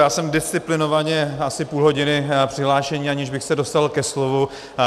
Já jsem disciplinovaně asi půl hodiny přihlášen, aniž bych se dostal ke slovu.